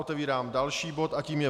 Otevírám další bod a tím je